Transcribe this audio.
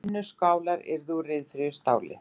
Vinnuskálar úr ryðfríu stáli.